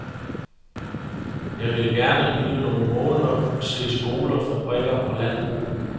Jeg ville gerne blive nogle måneder og se skoler, fabrikker og landbrug.